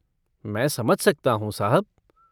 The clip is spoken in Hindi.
मैं समझ सकता हूँ, साहब।